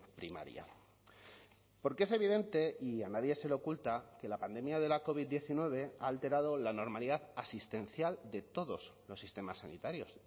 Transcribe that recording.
primaria porque es evidente y a nadie se le oculta que la pandemia de la covid diecinueve ha alterado la normalidad asistencial de todos los sistemas sanitarios